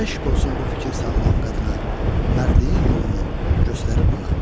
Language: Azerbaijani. Eşq olsun bu fikir sağlam qadına, mərdliyin yolunu göstərir mana."